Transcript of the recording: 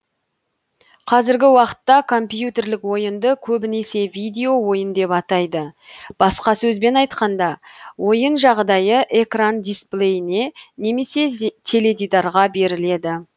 қазіргі уақытта компьютерлік ойынды көбінесе видео ойын деп атайды басқа сөзбен айтқанда ойын жағдайы экран дисплейіне немесе теледидарға беріледі